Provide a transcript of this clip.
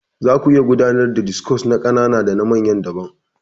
Zaku iya gudanar da discos na ƙanana dana manya daban.